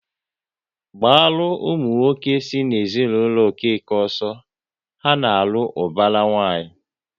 Gbaru ụmụ nwoke si n'ezinụlọ Okeke ọsọ, ha na-alụ ubara nwanyi!